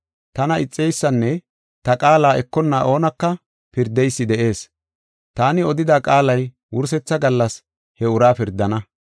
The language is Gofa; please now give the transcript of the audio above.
Tana ixeysanne ta qaala ekonna oonaka pirdeysi de7ees. Taani odida qaalay wursetha gallas he uraa pirdana.